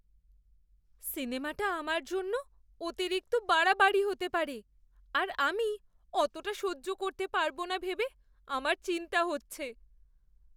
সিনেমাটা আমার জন্য অতিরিক্ত বাড়াবাড়ি হতে পারে আর আমি অতটা সহ্য করতে পারবো না ভেবে আমার চিন্তা হচ্ছে।